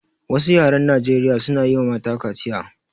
Wasu yaran a Nijeriya suna yiwa mata kaciya